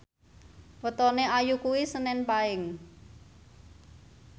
wetone Ayu kuwi senen Paing